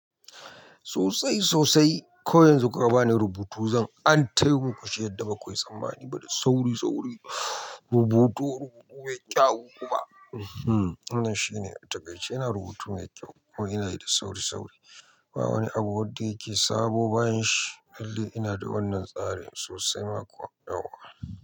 Sosai sosai. Ko yanzu kuka bani rubutu, zan antayo muku shi yadda bakuyi tsammaniba da sauri-sauri. Rubutu, rubutu mai kyau kuma. Wannan shine, a taƙaice ina rubutu mai kyau kuma inayi da sauri-sauri. Ba wani abu wadda yake sabo ba yanshi. Lallai ina da wannan tsarin sosai ma kuwa.